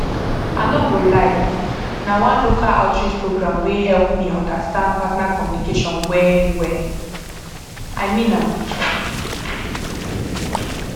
i no go lie na one local outreach program wey help me understand partner communication well well i mean am